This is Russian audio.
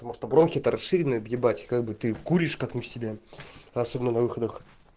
потому что бронхит расширенные ебать как бы ты куришь как мы себя особенно на выходных